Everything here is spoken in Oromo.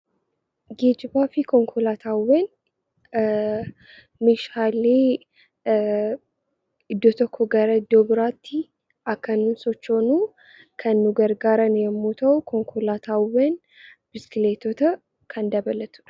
Geejjibaa fi konkolaataawwan meeshaalee iddoo tokkoo gara iddoo biraatti akka nuyi sochoonu kan nu gargaaran yommuu ta'u, konkolaataawwan, biskileetota kan dabalatu dha.